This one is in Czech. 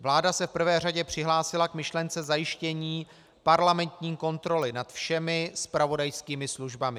Vláda se v prvé řadě přihlásila k myšlence zajištění parlamentní kontroly nad všemi zpravodajskými službami.